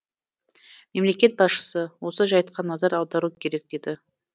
мемлекет басшысы осы жайтқа назар аудару керек деді